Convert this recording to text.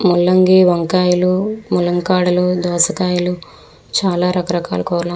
ముల్లంగి వంకయల్లు దోసకయల్లు చాలా రక రకాల కురగాయల్లు--